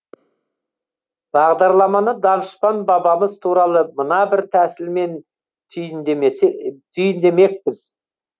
бағдарламаны данышпан бабамыз туралы мына бір тәсілмен түйіндемекпіз